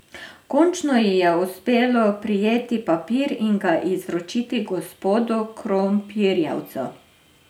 Končno ji je uspelo prijeti papir in ga izročiti gospodu Krompirjevcu.